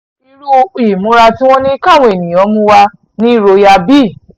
irú ìmúra tí wọ́n ní káwọn èèyàn mú wá ni royal bee